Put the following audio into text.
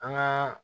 An gaa